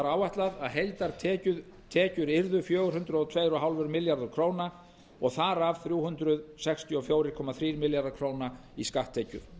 áætlað að heildartekjur yrðu fjögur hundruð og tvö komma fimm milljarðar króna og þar af þrjú hundruð sextíu og fjögur komma þrír milljarðar króna í skatttekjur